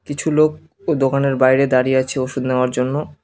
কিছু লোক দোকানের বাইরে দাঁড়িয়ে আছে ওষুধ নেওয়ার জন্য।